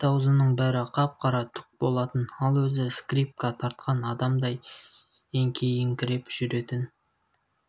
бет-аузының бәрі қап-қара түк болатын ал өзі скрипка тартқан адамдай еңкейіңкіреп жүретін